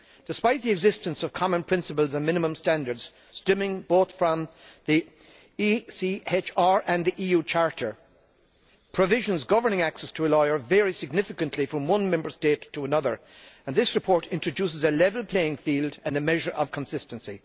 Despite the existence of common principles and minimum standards stemming both from the ECHR and the EU Charter, provisions governing access to a lawyer vary significantly from one Member State to another and this report introduces a level playing field and a measure of consistency.